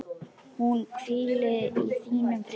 Hún hvíli í þínum friði.